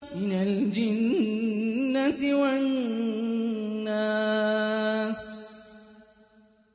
مِنَ الْجِنَّةِ وَالنَّاسِ